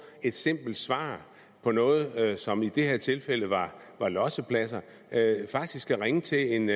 et simpelt svar på noget som i det her tilfælde var var lossepladser faktisk skal ringe til en